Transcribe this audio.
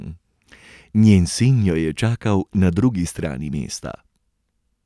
Njen sin jo je čakal na drugi strani mesta.